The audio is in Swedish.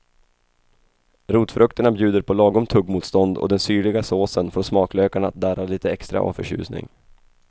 Rotfrukterna bjuder på lagom tuggmotstånd och den syrliga såsen får smaklökarna att darra lite extra av förtjusning.